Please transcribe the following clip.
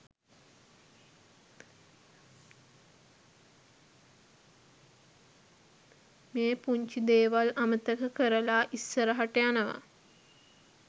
මේ පුංචි දේවල් අමතක කරලා ඉස්සරහට යනවා